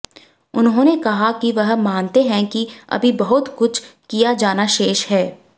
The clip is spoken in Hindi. उन्होने कहा कि वह मानते है कि अभी बहुत कुछ किया जाना शेष है